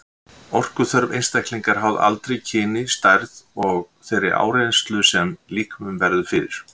Orkuþörf einstaklinga er háð aldri, kyni, stærð og þeirri áreynslu sem líkaminn verður fyrir.